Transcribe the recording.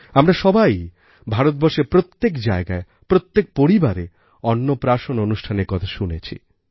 আমরা সবাই ভারতবর্ষের প্রত্যেক জায়গায় প্রত্যেক পরিবারে অন্নপ্রাশন অনুষ্ঠানের কথা শুনেছি